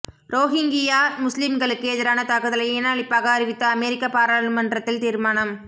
Rohingya முஸ்லிம்களுக்கு எதிரான தாக்குதலை இன அழிப்பாக அறிவித்து அமெரிக்க பாராளுமன்றத்தில் தீர்மானம்